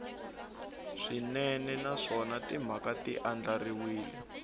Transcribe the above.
swinene naswona timhaka ti andlariwile